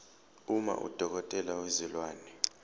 uma udokotela wezilwane